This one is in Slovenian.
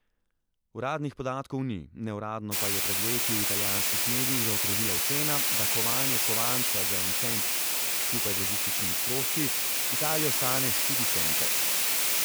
Uradnih podatkov ni, neuradno pa je pred leti v italijanskih medijih zakrožila ocena, da kovanje kovanca za en cent skupaj z logističnimi stroški Italijo stane štiri cente.